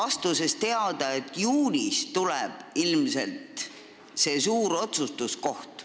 Andsite teada, et juunis tuleb ilmselt see suur otsustuskoht.